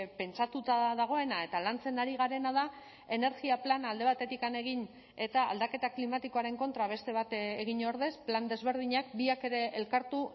pentsatuta dagoena eta lantzen ari garena da energia plana alde batetik egin eta aldaketa klimatikoaren kontra beste bat egin ordez plan desberdinak biak ere elkartu